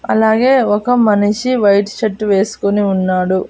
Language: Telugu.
అలాగే ఒక మనిషి వైట్ షర్ట్ వేసుకొని ఉన్నాడు.